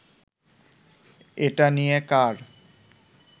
এটা নিয়ে কার